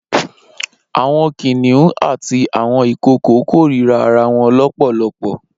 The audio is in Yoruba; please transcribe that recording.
Awọn kiniùn àtí awọn ikookó kórirá àráwọ̀n lọpọlọpọ